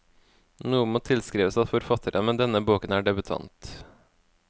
Noe må tilskrives at forfatteren med denne boken er debutant.